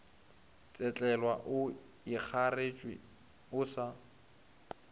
tsetlelwa o ikgareetše o sa